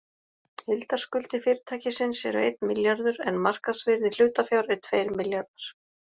Heildarskuldir fyrirtækisins eru einn milljarður en markaðsvirði hlutafjár er tveir milljarðar.